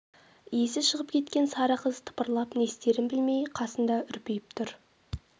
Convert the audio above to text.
есі шығып кеткен сары қыз тыпырлап не істерін білмей қасында үрпиіп тұр